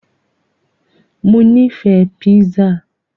Mo nífẹ̀ẹ́ pizza.